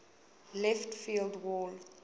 left field wall